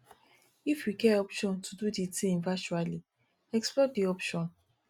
if you get option to do di thing virtually explore di option